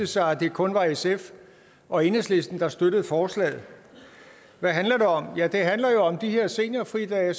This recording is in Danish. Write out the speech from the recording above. sig at det kun var sf og enhedslisten der støttede forslaget hvad handler det om ja det handler jo om de her seniorfridage